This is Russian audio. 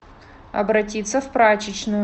обратиться в прачечную